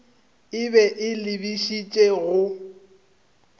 e be e lebišitše go